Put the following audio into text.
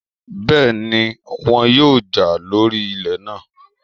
Bẹ́ẹ̀ni, wọn yóò jà lórí ilẹ̀ náà